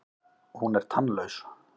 Hún er tannlaus.